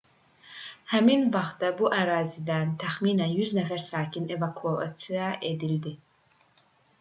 həmin vaxtda bu ərazidən təxminən 100 nəfər sakin evakuasiya edildi